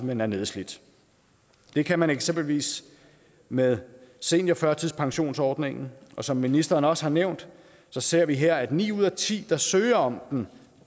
man er nedslidt det kan man eksempelvis med seniorførtidspensionsordningem og som ministeren også har nævnt ser vi her at ni ud af ti der søger om den